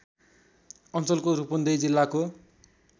अञ्चलको रूपन्देही जिल्लाको